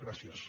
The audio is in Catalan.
gràcies